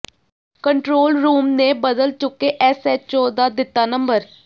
control room ਨੇ ਬਦਲ ਚੁੱਕੇ ਐੱਸਐੱਚਓ ਦਾ ਦਿੱਤਾ ਨੰਬਰ